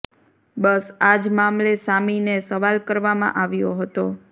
બસ આ જ મામલે સામીને સવાલ કરવામાં આવ્યો હતો